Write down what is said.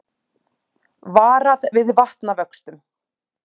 Varað við vatnavöxtum